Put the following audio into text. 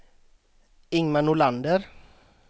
Ingmar Nordlander